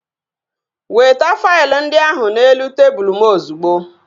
Weta faịlụ ndị ahụ n'elu tebụl m ozigbo!